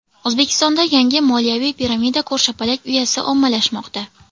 O‘zbekistonda yangi moliyaviy piramida ko‘rshapalak uyasi ommalashmoqda.